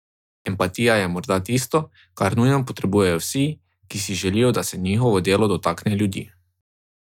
Empatija je morda tisto, kar nujno potrebujejo vsi, ki si želijo, da se njihovo delo dotakne ljudi.